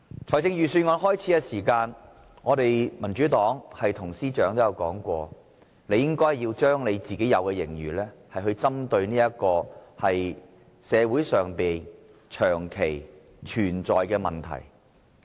在開始草擬預算案時，民主黨曾對司長說，他應該將盈餘用於社會上長期存在的問題。